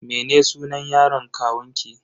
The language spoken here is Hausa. Mene sunan yaron kawunki?